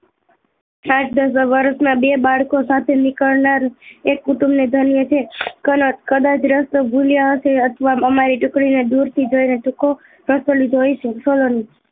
આઠ દશ વર્ષ માં બે બાળકો સાથે નીકળનાર એક કુટુંબ ને ધન્ય છે કાન કદાચ રસ્તો ભૂલ્યા હશે અથવા અમારું ટુકડી ને દુર થી જોઈ ને ટૂંકો રસ્તો લઇ હશે